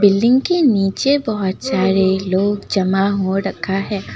Building के नीचे बहुत सारे लोग जमा हो रखा है।